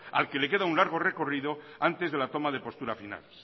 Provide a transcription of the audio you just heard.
al que le queda un largo recorrido antes de la toma de postura final